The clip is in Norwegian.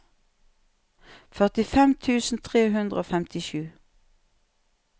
førtifem tusen tre hundre og femtisju